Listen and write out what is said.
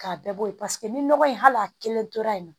K'a bɛɛ bɔ ye paseke ni nɔgɔ in hal'a kelen tora yen nɔ